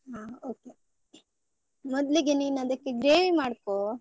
ಹ okay , ಮೊದ್ಲಿಗೆ ನೀನು ಅದಕ್ಕೆ gravy ಮಾಡ್ಕೋ.